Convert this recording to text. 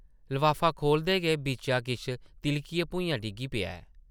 लफाफा खोह्लदे गै बिच्चा किश तिʼलकियै भुञां डिग्गी पेआ ऐ ।